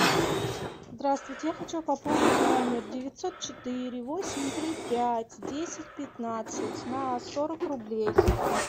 здравствуйте я хочу пополнить номер девятьсот четыре восемь три пять десять пятнадцать на сорок рублей